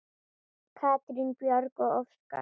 Katrín Björg og Óskar.